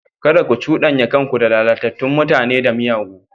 Kada ku cudanya kanku da lalatattun mutane da miyagu.